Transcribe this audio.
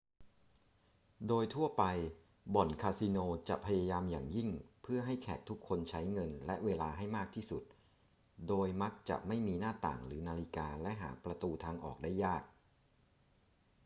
โดยทั่วไปบ่อนคาสิโนจะพยายามอย่างยิ่งเพื่อให้แขกทุกคนใช้เงินและเวลาให้มากที่สุด โดยมักจะไม่มีหน้าต่างหรือนาฬิกาและหาประตูทางออกได้ยาก